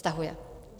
Stahuje?